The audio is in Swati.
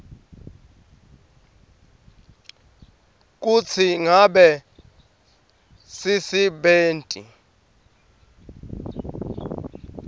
kutsi ngabe sisebenti